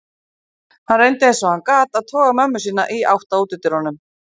Hann reyndi eins og hann gat að toga mömmu sína í átt á útidyrunum.